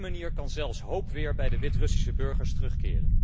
Op die manier kan zelfs weer hoop bij de Wit Russische burgers terugkeren.